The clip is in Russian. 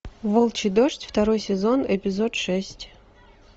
волчий дождь второй сезон эпизод шесть